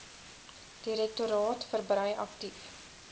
direktoraat verbrei aktief